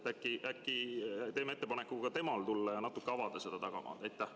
Äkki teeme ka talle ettepaneku tulla ja natuke avada seda tagamaad?